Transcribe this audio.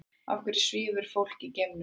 Af hverju svífur fólk í geimnum?